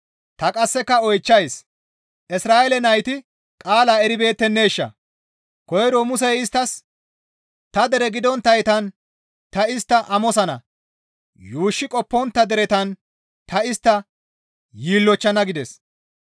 Ta qasseka oychchays; Isra7eele nayti qaalaa eribeetteneeshaa? Koyro Musey isttas, «Ta dere gidonttaytan ta istta amosana; yuushshi qoppontta deretan ta istta yiillochchana» gides.